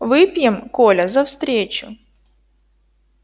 выпьем коля за встречу